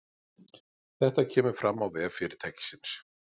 Þetta kemur fram á vef fyrirtækisins